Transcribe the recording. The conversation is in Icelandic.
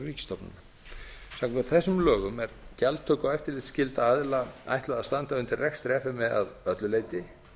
samkvæmt þessum lögum er gjaldtaka og eftirlitsskylda aðila ætlað að standa undir rekstri f m e að öllu leyti